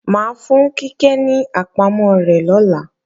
Mà á fún Kíkẹ́ ní àpamọ́ rẹ̀ lọ́la